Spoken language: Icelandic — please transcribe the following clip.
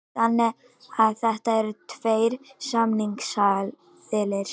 Þannig að þetta eru tveir samningsaðilar